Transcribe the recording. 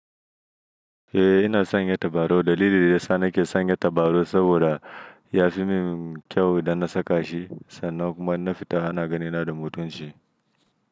Eh ina sanya tabarau. Dalili da ya sa nake sanya tabarau saboda ya fi min kyau idan na saka shi sannan kuma na fita, ana gani na da mutunchi.